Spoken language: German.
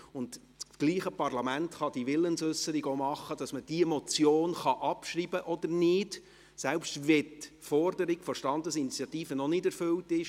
Dasselbe Parlament kann die Willensäusserung auch dahingehend machen, dass man diese Motion abschreibt oder nicht, selbst wenn die Forderung der Standesinitiative noch nicht erfüllt ist.